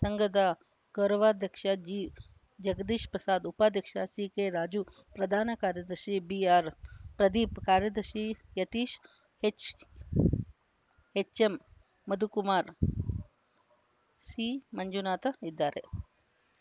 ಸಂಘದ ಗೌರವಾಧ್ಯಕ್ಷ ಜಿ ಜಗದೀಶ್‌ ಪ್ರಸಾದ್‌ ಉಪಾಧ್ಯಕ್ಷ ಸಿಕೆರಾಜು ಪ್ರಧಾನ ಕಾರ್ಯದರ್ಶಿ ಬಿಆರ್‌ಪ್ರದೀಪ್‌ ಕಾರ್ಯದರ್ಶಿ ಯತೀಶ್‌ ಎಚ್‌ ಎಚ್‌ಎಂಮಧುಕುಮಾರ್‌ ಸಿಮಂಜುನಾಥ ಇದ್ದಾರೆ